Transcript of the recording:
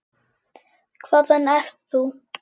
Hvaðan ert þú?